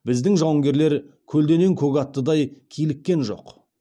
біздің жауынгерлер көлденең көк аттыдай киліккен жоқ